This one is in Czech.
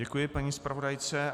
Děkuji paní zpravodajce.